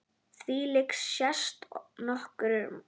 Þvílíkt sést nokkuð oft.